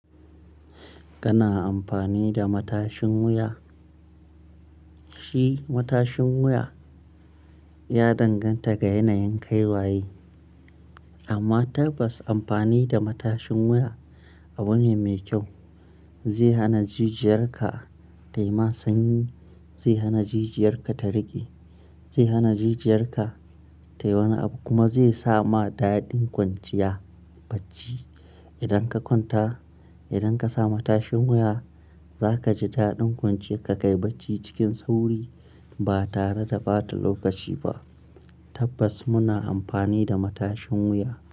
Kana amfani da matashin wuya? Shi matashin wuya ya danganta ga yanayin kai waye. Amma tabbas amfani da matashin wuya abu ne mai kyau. Zai hana jijiyarka tayi ma sanyi, zai hana jijiyarka ta riƙe, zai hana jijiyarka tayi wani abu kuma zai sa ma daɗin kwanciya bacci. Idan ka kwanta, idan ka sami tashin wuya za kaji daɗin kwanciya ka kai bacci cikin sauri ba tare da ɓata lokaci ba. Tabbas muna amfani da matashin wuya.